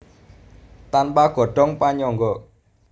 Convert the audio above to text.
Tanpa godhong panyangga